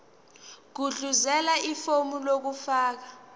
gudluzela ifomu lokufaka